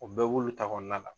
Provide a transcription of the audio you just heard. O bɛɛ b'ulu ta kɔnɔna la.